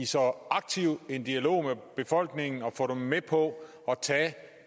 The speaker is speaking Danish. så aktiv dialog med befolkningen at få dem med på at tage